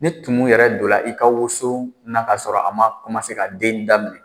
Ne tumu yɛrɛ donna i ka woso na k'a sɔrɔ a ma ka den daminɛ